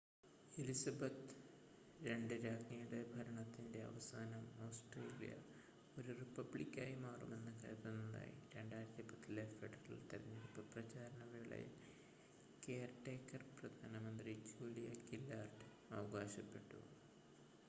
Elizabeth ii രാജ്ഞിയുടെ ഭരണത്തിൻ്റെ അവസാനം ഓസ്ട്രേലിയ ഒരു റിപ്പബ്ലിക്കായി മാറുമെന്ന് കരുതുന്നതായി 2010-ലെ ഫെഡറൽ തെരഞ്ഞെടുപ്പ് പ്രചാരണ വേളയിൽ കെയർ ടേക്കർ പ്രധാനമന്ത്രി ജൂലിയ ഗില്ലാർഡ് അവകാശപ്പെട്ടു